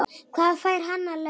Hvað fær hann í laun?